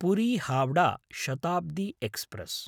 Puri Howrah Shatabdi express